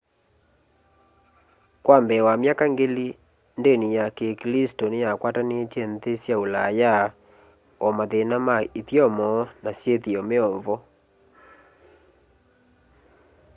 kwa mbee wa myaka ngili ndini ya kiklisto niyakwatanitye nthi sya ulaya o mathina ma ithyomo na syithio meovo